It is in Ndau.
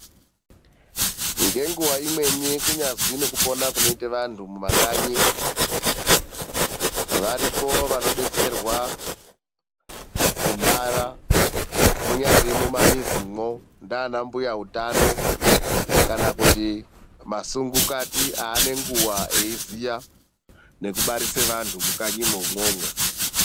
Ngenguva imweni kunyazwi nekupona kunoita vantu mumakanyi, varipo vanodetserwa kubara, munyari mumamizimwo ndiana mbuya utano kana kuti masungukati aanenguwa eiziya nekubarisa vantu mukanyimwi umwomwo.